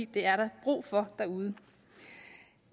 det er der brug for derude